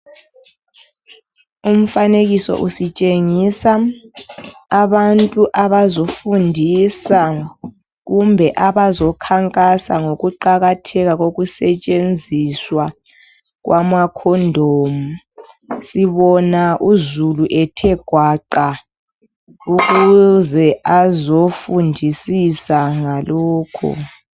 Umfanekiso usitshengisa abantu abazofundisa kumbe abazokhankasa ngokuqakatheka kokusetshenziswa kwama condom. Sibona uzulu ethe gwaqa ukuze azofundisisa ngalokho.